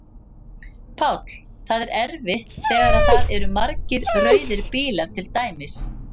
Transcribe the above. Páll: Það er erfitt þegar að það eru margir rauðir bílar til dæmis?